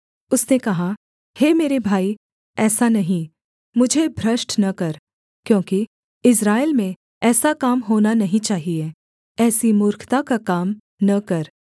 उसने कहा हे मेरे भाई ऐसा नहीं मुझे भ्रष्ट न कर क्योंकि इस्राएल में ऐसा काम होना नहीं चाहिये ऐसी मूर्खता का काम न कर